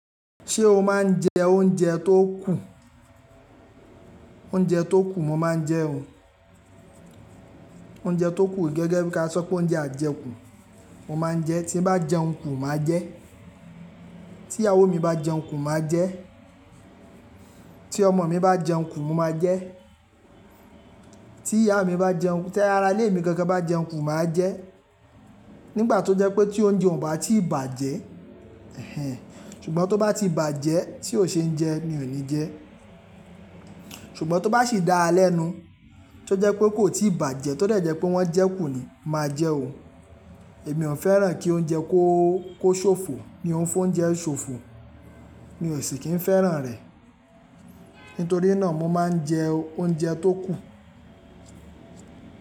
Ṣé o máa ń jẹ oúnjẹ tó kù? Oúnjẹ tó kù mo máa ń jẹ ó. Oúnjẹ tó kù gẹ́gẹ́ bí-- ka sọ pé oúnjẹ ajekù mo máa ń jẹ. Tí n bá jẹun kù, màá jẹ. Tí ìyàwó mi bá jẹun kù, màá jẹ. Tí ọmọ mi bá jẹun kù, mo máa jẹ. Tí ìyá mi bá jẹun, tí ará ilé mi gangan bá jẹun kù, màá jẹ. Nígbà tó jẹ́ pé tí oúnjẹ ò bá tíì bàjẹ́, ẹhẹ̀n, ṣùgbọ́n tó bá ti bàjẹ́ tí ó ṣe ń jẹ, mi ò ní jẹ. Ṣùgbọ́n tó bá sì dáa lẹ́nu, tí ó jẹ́ pé kò tíì bàjẹ́, tó dejẹ́ pé wọ́n jẹ́ kù ni, màá jẹ́ ó. Èmi ò fẹ́ràn kí oúnjẹ kó, kó ṣòfò. Mi ò ń fi oúnjẹ ṣòfò, mi ò sì kì í fẹ́ràn rẹ̀. Nítorí náà mo máa ń jẹ oúnjẹ tó kù.